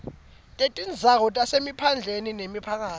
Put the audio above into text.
kwetindzawo tasemaphandleni nemiphakatsi